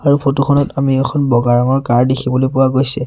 আৰু ফটো খনত আমি এখন বগা ৰঙৰ কাৰ দেখিবলৈ পোৱা গৈছে।